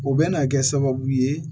O bɛ na kɛ sababu ye